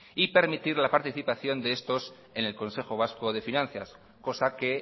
y permitir la participación de estos en el consejo vasco de finanzas cosa que